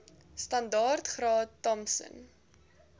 standaard graad thompson